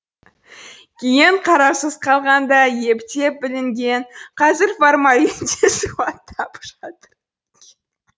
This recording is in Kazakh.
кейін қараусыз қалғанда ептеп бүлінген қазір формалинде суаттап жатыр